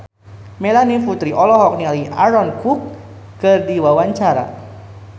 Melanie Putri olohok ningali Aaron Kwok keur diwawancara